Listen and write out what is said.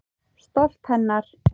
Stolt hennar.